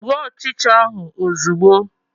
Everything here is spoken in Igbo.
Gbuo ọchịcha ahụ ozugbo!